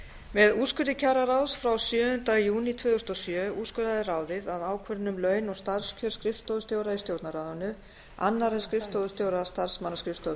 með úrskurði kjararáðs frá sjöunda júní tvö þúsund og sjö úrskurðaði ráðið að ákvörðun um laun og starfskjör skrifstofustjóra í stjórnarráðinu annarra en skrifstofustjóra starfsmannaskrifstofu